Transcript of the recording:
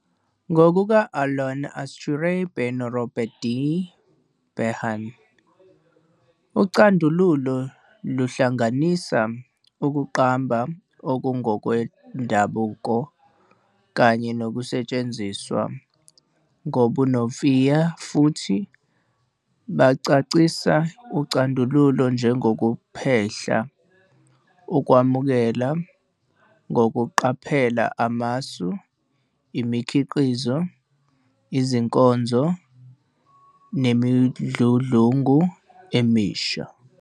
Ngokuka-Alan Altshuler beno-Robert D. Behn, ucandululo luhlanganisa ukuqamba okungokwendabuko kanye nokusetshenziswa ngobunomfiya futhi bachasisa ucandululo njengokuphehla, ukwamukela ngokuqaphela amasu, imikhiqizo, izinkonzo, nemidludlungu emisha.